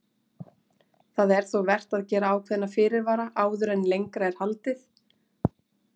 Það er þó vert að gera ákveðna fyrirvara áður en lengra er haldið.